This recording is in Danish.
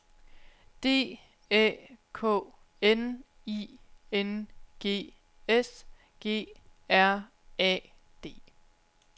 D Æ K N I N G S G R A D